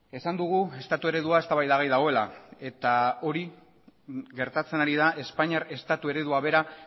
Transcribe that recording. esan dugu estatu eredua eztabaidagai dagoela eta hori gertatzen ari da espainiar estatu eredua bera